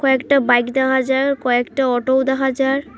কয়েকটা বাইক দেহা যার কয়েকটা অটোও দেহা যার